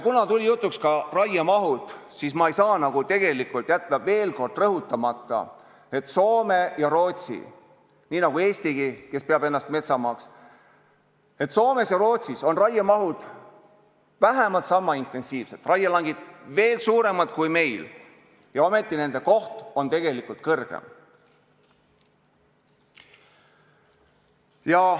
Kuna tuli jutuks ka raiemaht, siis ma ei saa jätta veel kord rõhutamata, et Soomes ja Rootsis on raiemaht vähemalt niisama intensiivne kui Eestiski, kes peab ennast metsamaaks, raielangid veel suuremad kui meil, ometi on nende koht kõrgem.